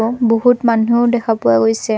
বহুত মানুহো দেখা পোৱা গৈছে।